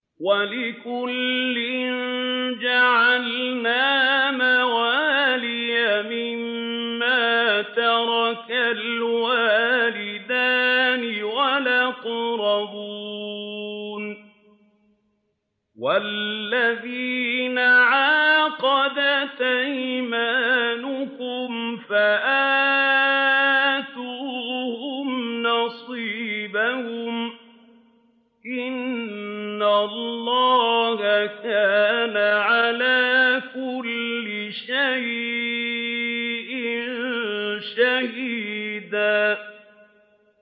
وَلِكُلٍّ جَعَلْنَا مَوَالِيَ مِمَّا تَرَكَ الْوَالِدَانِ وَالْأَقْرَبُونَ ۚ وَالَّذِينَ عَقَدَتْ أَيْمَانُكُمْ فَآتُوهُمْ نَصِيبَهُمْ ۚ إِنَّ اللَّهَ كَانَ عَلَىٰ كُلِّ شَيْءٍ شَهِيدًا